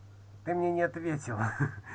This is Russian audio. ты мне не ответила